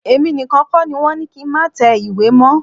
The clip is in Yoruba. Èmi nìkan kọ́ ni wọ́n ni kí n má tẹ ìwé mọ́.